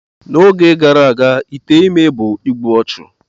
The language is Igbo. N'oge gara aga ite ime bụ igbu ọchụ.